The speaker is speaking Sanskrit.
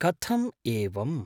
कथम् एवम्?